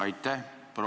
Aitäh!